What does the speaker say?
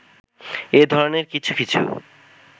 এ ধরণের কিছু কিছু